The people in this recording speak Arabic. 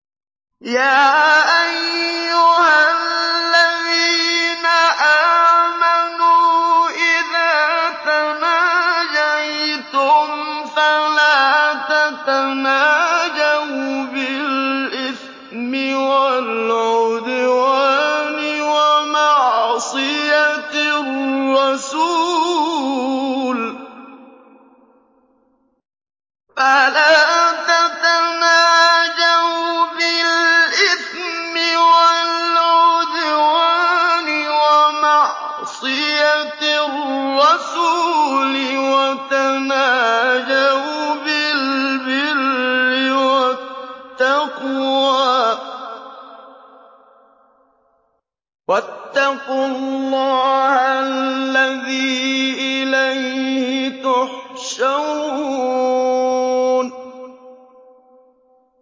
يَا أَيُّهَا الَّذِينَ آمَنُوا إِذَا تَنَاجَيْتُمْ فَلَا تَتَنَاجَوْا بِالْإِثْمِ وَالْعُدْوَانِ وَمَعْصِيَتِ الرَّسُولِ وَتَنَاجَوْا بِالْبِرِّ وَالتَّقْوَىٰ ۖ وَاتَّقُوا اللَّهَ الَّذِي إِلَيْهِ تُحْشَرُونَ